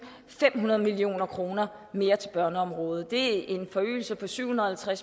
fem hundrede million kroner mere til børneområdet det er en forøgelse på syv hundrede og